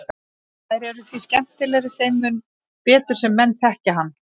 Þær eru því skemmtilegri þeim mun betur sem menn þekkja hann.